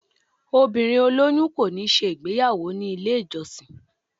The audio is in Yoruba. obírín oloyun ko ni ṣe igbeyawo ni ile ijọsin.